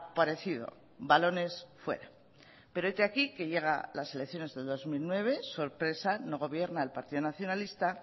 parecido balones fuera pero hete aquí que llegan las elecciones del dos mil nueve sorpresa no gobierna el partido nacionalista